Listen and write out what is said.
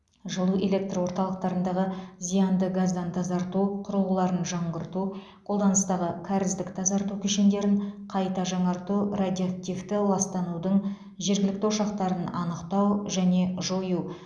жылу электр орталықтарындағы зиянды газдан тазарту құрылғыларын жаңғырту қолданыстағы кәріздік тазарту кешендерін қайта жаңарту радиоактивті ластанудың жергілікті ошақтарын анықтау және жою